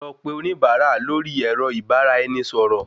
Lọ pe oníbárà lórí èrọ ìbáraẹnisọ̀rọ̀